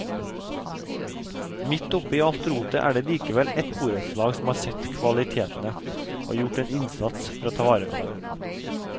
Midt oppe i alt rotet er det likevel et borettslag som har sett kvalitetene og gjort en innsats for å ta vare på dem.